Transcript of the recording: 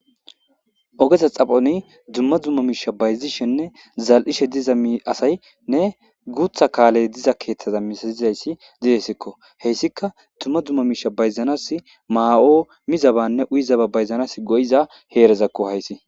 Ogeta xaphoni dumma dumma miisha bayzishenne zal'ishe diza mi asaynne guutha kaaley diza keeththaza misazizayssi didessikko heyssika dumma dumma miisha bayzanas maa7o mizabanne uyizaba bayzanas go'iza heerezakko haysi.